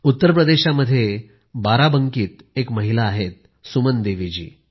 उत्तरप्रदेशात बाराबंकीमध्ये एक महिला आहेसुमनदेवीजी